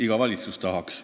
Iga valitsus tahaks.